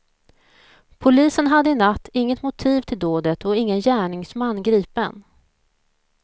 Polisen hade i natt inget motiv till dådet och ingen gärningsman gripen.